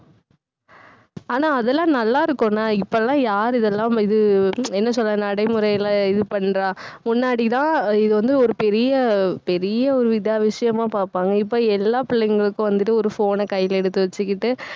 ஆனா, அதெல்லாம் நல்லா இருக்கும்னா இப்போ எல்லாம் யாரு இதெல்லாம் இது என்ன சொல்றது நடைமுறையிலே இது பண்றா முன்னாடிதான் இது வந்து ஒரு பெரிய பெரிய ஒரு இதா~ விஷயமா பாப்பாங்க. இப்ப எல்லா பிள்ளைங்களுக்கும் வந்துட்டு ஒரு phone ன கையில எடுத்து வச்சுக்கிட்டு